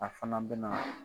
A fana bɛ na